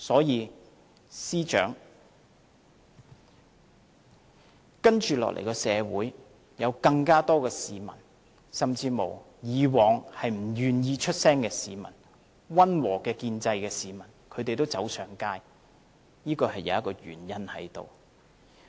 因此，司長，社會將會有更多市民，甚至以往不願意發聲的市民和支持溫和建制派的市民走上街，這是有原因的。